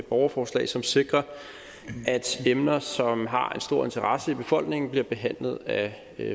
borgerforslag som sikrer at emner som har en stor interesse i befolkningen bliver behandlet af